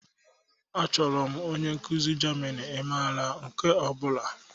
Achọrọ m onye nkuzi Germini, ị maara nke ọ bụla?